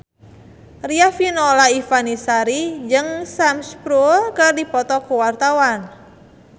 Riafinola Ifani Sari jeung Sam Spruell keur dipoto ku wartawan